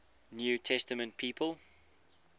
new testament people